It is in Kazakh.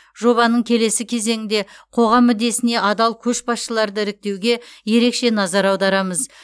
жобаның келесі кезеңінде қоғам мүддесіне адал көшбасшыларды іріктеуге ерекше назар аударамыз